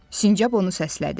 Sincab onu səslədi.